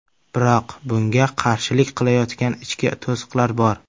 Biroq bunga qarshilik qilayotgan ichki to‘siqlar bor.